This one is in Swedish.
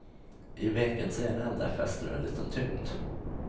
I vekens ena ände fäster du en liten tyngd.